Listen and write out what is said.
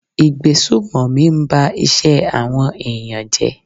Ìgbésùmọ̀mí ń ba iṣẹ́ àwọn ẹ̀yàn jẹ́.